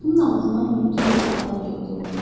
Qapının ağzından hündür bir adam peyda oldu.